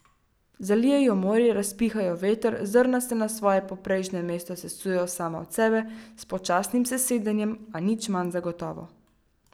Zalije jo morje, razpiha jo veter, zrna se na svoje poprejšnje mesto sesujejo sama od sebe, s počasnim sesedanjem, a nič manj zagotovo.